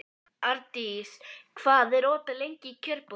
Ardís, hvað er opið lengi í Kjörbúðinni?